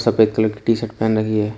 White colour की T shirt पहन रखी है।